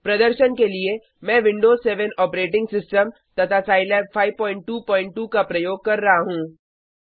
प्रदर्शन के लिए मैं विंडोज 7 ऑपरेटिंग सिस्टम तथा साईलैब 522 का प्रयोग कर रहा हूँ